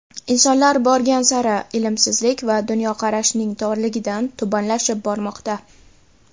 Insonlar borgan sari, ilmsizlik va dunyoqarashining torligidan tubanlashib bormoqda.